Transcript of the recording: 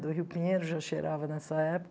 Do Rio Pinheiro, já cheirava nessa época.